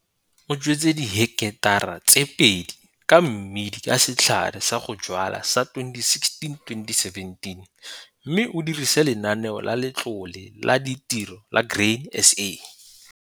O jwetse diheketara tse pedi ka mmidi ka setlha sa go jwala sa 2016-2017 mme o dirisa Lenaneo la Letlole la Ditiro la Grain SA.